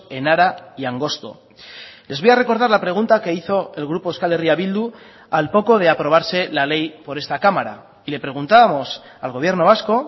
enara y angosto les voy a recordar la pregunta que hizo el grupo euskal herria bildu al poco de aprobarse la ley por esta cámara y le preguntábamos al gobierno vasco